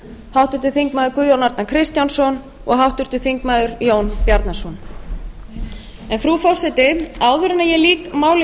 háttvirtir þingmenn guðjón arnar kristjánsson og háttvirtur þingmaður jón bjarnason en frú forseti áður en ég lýk máli